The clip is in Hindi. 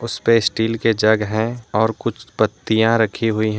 उसपे स्टील के जग हैं और कुछ पत्तियां रखी हुई हैं।